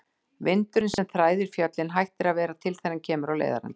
Vindurinn, sem þræðir fjöllin, hættir að vera til þegar hann kemur á leiðarenda.